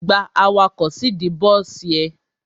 Gba awakọ̀ síìdí bọ́sì ẹ!